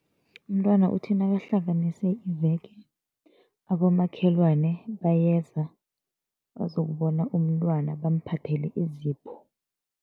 Umntwana uthi nakahlanganise iveke, abomakhelwane bayeza bazokubona umntwana, bamphathele izipho.